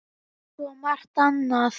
Eins og svo margt annað.